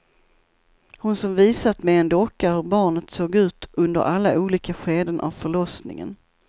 Hon som visat med en docka hur barnet såg ut under alla olika skeden av förlossningen.